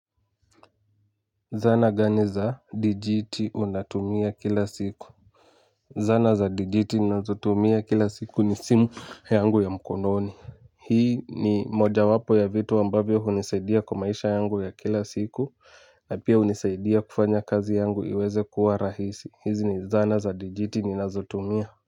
Zana gani za dijiti unatumia kila siku. Zana za dijiti nazotumia kila siku ni simu yangu ya mkononi. Hii ni mojawapo ya vitu ambavyo hunisaidia kwa maisha yangu ya kila siku na pia hunisaidia kufanya kazi yangu iwe rahisi izi ni dhana za digijiti nazotumia.